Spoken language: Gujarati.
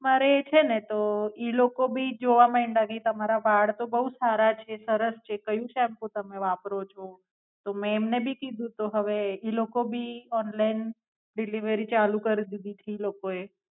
એમાં રેય છેને તો ઈ લોકો ભી જોવા મંડ્યા કે મારા વાળ તો બહુ જ સારા છે સરસ છે કયું સેમ્પુ તમે વાપરો છો? તો મેં એમને ભી કીધૂ તું હવે ઈ લોકો ભી ઓંનલાઇન ચાલુ કર દીધી છે ઈ લોકો એ